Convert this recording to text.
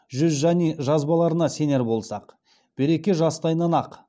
жүзжани жазбаларына сенер болсақ береке жас тайнанақ